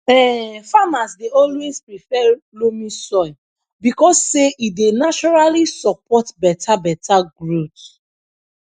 um farmers dey always prefer loamy soil because say e dey naturally support beta beta growth